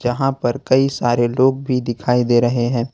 वहाँ पर कई सारे लोग भी दिखाई दे रहे हैं।